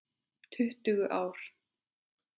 Tuttugu ár!